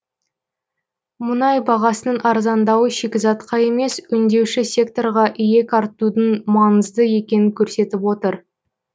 мұнай бағасының арзандауы шикізатқа емес өңдеуші секторға иек артудың маңызды екенін көрсетіп отыр